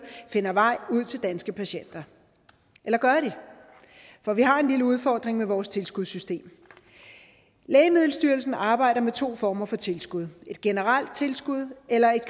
finder vej ud til danske patienter eller gør de for vi har en lille udfordring med vores tilskudssystem lægemiddelstyrelsen arbejder med to former for tilskud et generelt tilskud eller et